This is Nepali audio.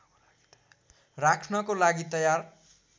राख्नको लागि तयार